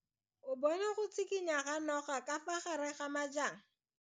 O bone go tshikinya ga noga ka fa gare ga majang.